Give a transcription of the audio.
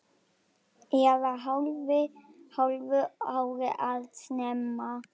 Eða hálfu ári of snemma.